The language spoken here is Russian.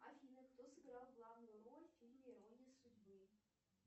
афина кто сыграл главную роль в фильме ирония судьбы